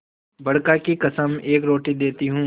बड़का की कसम एक रोटी देती हूँ